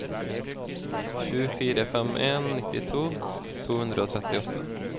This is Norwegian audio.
sju fire fem en nittito to hundre og trettiåtte